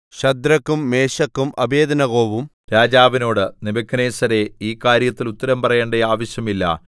ശദ്രക്കും മേശക്കും അബേദ്നെഗോവും രാജാവിനോട് നെബൂഖദ്നേസരേ ഈ കാര്യത്തിൽ ഉത്തരം പറയേണ്ട ആവശ്യമില്ല